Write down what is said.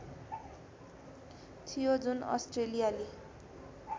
थियो जुन अस्ट्रेलियाली